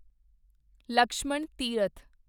Lakshman Tirath